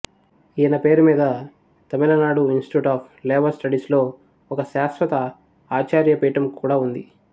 ఈయన పేరు మీద తమిళనాడు ఇన్స్టిట్యూట్ ఆఫ్ లేబర్ స్టడీస్లో ఒక శాశ్వత ఆచార్యపీఠం కూడా ఉంది